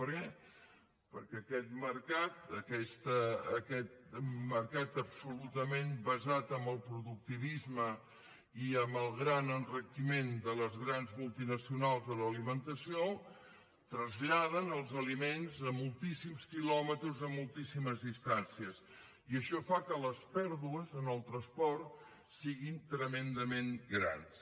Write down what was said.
per què perquè aquest mercat absolutament basat en el productivisme i en el gran enriquiment de les grans multinacionals de l’alimentació traslladen els aliments a moltíssims quilòmetres a moltíssimes distàncies i això fa que les pèrdues en el transport siguin tremendament grans